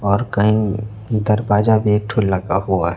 और कहीं दरवाजा भी एक